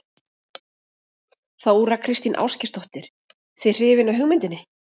Þóra Kristín Ásgeirsdóttir:. þið hrifin af hugmyndinni?